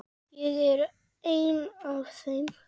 Ég er ein af þeim.